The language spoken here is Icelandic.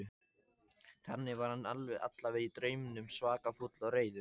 Þannig var hann allavega í draumnum, svaka fúll og reiður.